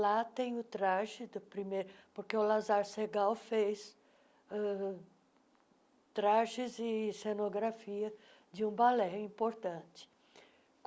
Lá tem o traje do primeiro... Porque o Lazar Segal fez ãh trajes e cenografia de um balé importante.